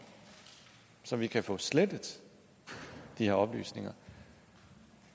så vi kan få slettet de her oplysninger